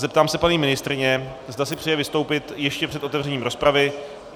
Zeptám se paní ministryně, zda si přeje vystoupit ještě před otevřením rozpravy.